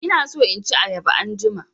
Ina so in ci ayaba anjima.